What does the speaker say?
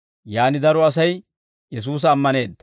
Yaan daro Asay Yesuusa ammaneedda.